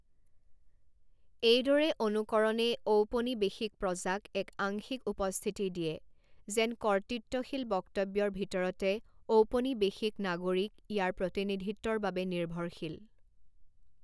এইদৰে অনুকৰণে ঔপনিৱেশিক প্ৰজাক এক আংশিক উপস্থিতি দিয়ে, যেন কৰ্তৃত্বশীল বক্তব্যৰ ভিতৰতে 'ঔপনিৱেশিক নাগৰিক' ইয়াৰ প্ৰতিনিধিত্বৰ বাবে নিৰ্ভৰশীল।